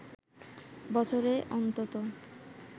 বছরে অন্তত